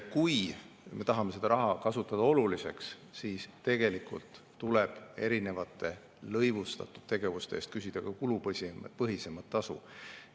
Kui me tahame seda raha kasutada oluliseks, siis tegelikult tuleb erinevate lõivustatud tegevuste eest küsida ka kulupõhisemat tasu.